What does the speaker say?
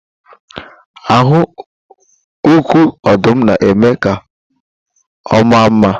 Ahụ uku ọdụm na-eme ka ọ maa mma